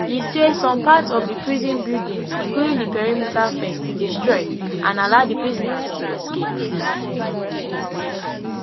e say some parts of di prison buildings including di perimeter fence destroy and allow di prisoners to escape